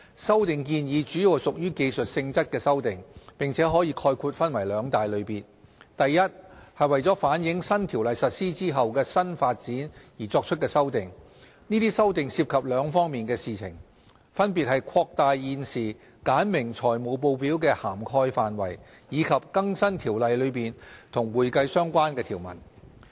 修例建議主要屬技術性質的修訂，並可概括分為兩大類別。a 為反映新《條例》實施後的新發展而作出的修訂這些修訂涉及兩方面的事宜，分別是擴大現時簡明財務報表的涵蓋範圍，以及更新《條例》中與會計相關的條文。